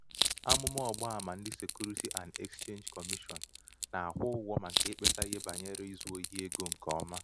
amụ̀mà ọ̀gbaàmà ndị securities and exchange commission nà-àkwụ ụgwọ̄ màkà ikpēsā ihe bànyere izū ohī egō ṅ̀kè ọma